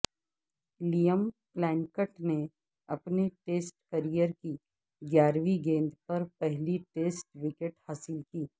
Liam Plunkett نے اپنے test career کی گیارہویں گیند پر پہلی ٹیسٹ وکٹ حاصل کی